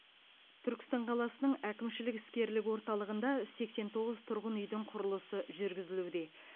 түркістан қаласының әкімшілік іскерлік орталығында сексен тоғыз тұрғын үйдің құрылысы жүргізілуде